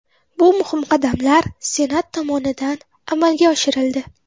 Bu muhim qadamlar Senat tomonidan amalga oshirildi.